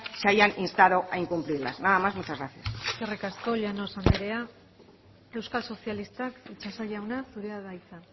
se hayan instado a incumplirlas nada más y muchas gracias eskerrik asko llanos anderea euskal sozialistak itxaso jauna zurea da hitza